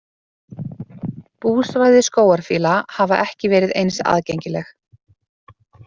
Búsvæði skógarfíla hafa ekki verið eins aðgengileg.